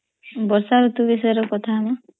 ବର୍ସା ରୁତୁ ବିସୟରେହ କଥା ହ ନା